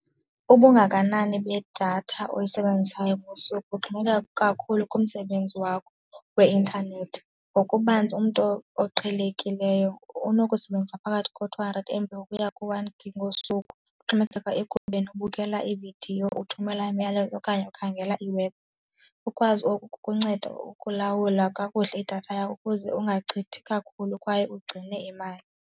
Ubungakanani bedatha oyisebenzisayo ngosuku kuxhomekeka kakhulu kumsebenzi wakho weintanethi ngokubanzi. Umntu oqhelekileyo unokusebenzisa phakathi ko-two hundred M_B ukuya ku-one gig ngosuku, kuxhomekeka ekubeni ukubukela iividiyo, uthumela imiyalezo okanye ukhangela iiwebhu. Ukwazi oku kukunceda ukulawula kakuhle idatha yakho ukuze ungachithi kakhulu kwaye ugcine imali.